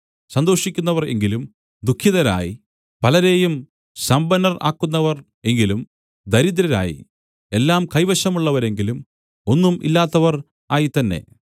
സന്തോഷിക്കുന്നവർ എങ്കിലും ദുഃഖിതരായി പലരെയും സമ്പന്നർ ആക്കുന്നവർ എങ്കിലും ദരിദ്രരായി എല്ലാം കൈവശമുള്ളവരെങ്കിലും ഒന്നും ഇല്ലാത്തവർ ആയിത്തന്നെ